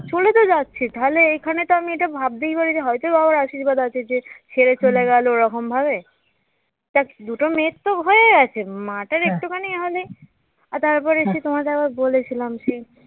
চলে তো যাচ্ছে তাহলে এখানে তো আমি এটা ভাবতেই পারি হয়ত বাবার আশীর্বাদ আছে যে ছেড়ে চলে গেল এরকম ভাবে তার দুটো মেয়ের তো হয়ে গেছে মাটার একটুখানি এ হলেই আর তারপরে এসেছি তোমাদের আবার বলেছিলাম যে